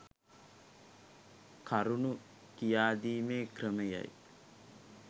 කරුණු කියාදීමේ ක්‍රමයයි